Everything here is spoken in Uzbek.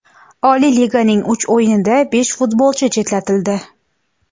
Oliy liganing uch o‘yinida besh futbolchi chetlatildi.